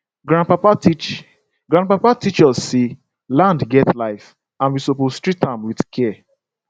grandpapa teach grandpapa teach us say land get life and we suppose treat am with care